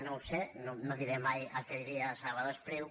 no ho sé no diré mai el que diria salvador espriu